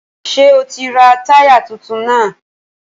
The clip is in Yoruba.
Ṣé o ti ra táyà tuntun náà?